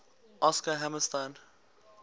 oscar hammerstein